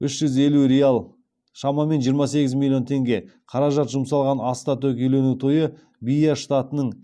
үш жүз елу реал қаражат жұмсалған аста төк үйлену тойы бия штатының